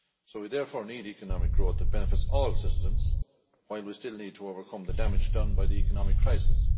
We therefore need economic growth that benefits all citizens while we still need to overcome the damage done by the economic crisis.